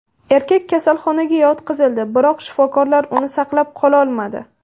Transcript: Erkak kasalxonaga yotqizildi, biroq shifokorlar uni saqlab qololmadi.